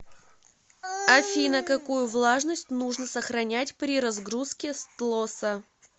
афина какую влажность нужно сохранять при разгрузке стлоса